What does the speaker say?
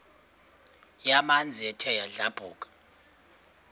yamanzi ethe yadlabhuka